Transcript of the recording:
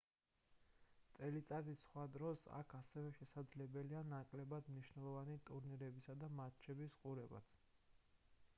წელიწადის სხვა დროს აქ ასევე შესაძლებელია ნაკლებად მნიშვნელოვანი ტურნირებისა და მატჩების ყურებაც